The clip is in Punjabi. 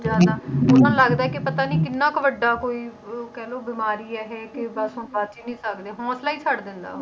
ਲੱਗਦਾ ਹੈ ਕਿ ਪਤਾ ਨੀ ਕਿੰਨਾ ਕੁ ਵੱਡਾ ਕੋਈ ਅਹ ਕਹਿ ਲਓ ਬਿਮਾਰੀ ਹੈ ਇਹ, ਕਿ ਬਸ ਹੁਣ ਬਚ ਹੀ ਨੀ ਸਕਦੇ, ਹੌਂਸਲਾ ਹੀ ਛੱਡ ਦਿੰਦਾ ਵਾ,